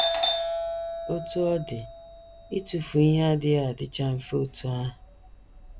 Otú ọ dị, ịtụfu ihe adịghị adịcha mfe otú ahụ.